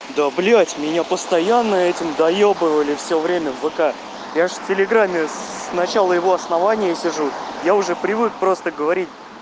да блять меня постоянно этим доёбывали всё время в вк я же в телеграме сначала его основания и сижу я уже привык просто говорить